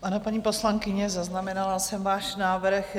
Ano, paní poslankyně, zaznamenala jsem váš návrh.